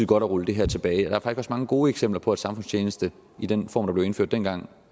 godt at rulle det her tilbage der er faktisk også mange gode eksempler på at samfundstjeneste i den form der blev indført dengang